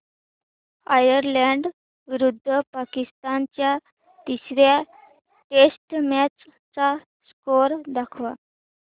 Ireland विरुद्ध पाकिस्तान च्या तिसर्या टेस्ट मॅच चा स्कोअर दाखवा